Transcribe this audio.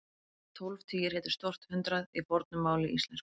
Tólf tugir hétu stórt hundrað í fornu máli íslensku.